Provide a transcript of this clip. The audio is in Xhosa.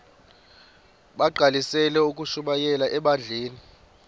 bagqalisele ukushumayela ebandleni